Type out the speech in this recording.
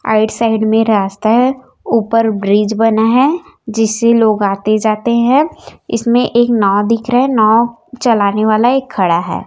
Right side में रास्ता है ऊपर ब्रिज बना है जिससे लोग आते जाते है इसमें एक नाव दिख रहा है नाव चलाने वाला एक खड़ा है।